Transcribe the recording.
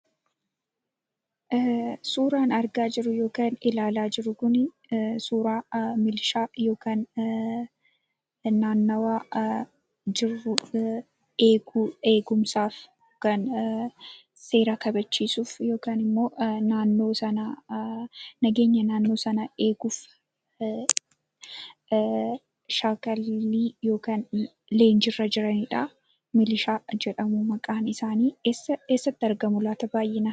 Suuraan argaa jirru suuraa milishaa kan naannawaa jiru, eegumsaaf yookaan seera kabachiisuuf nageenyaa naannoo sanaa eeguuf leenjiirra jiranidha. Milishaa jedhamu maqaan isaanii. Baayi'inaan eessatti argamu laata?